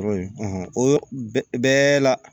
o yɔrɔ bɛɛ la